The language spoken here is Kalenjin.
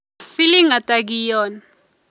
Siling ata kiyon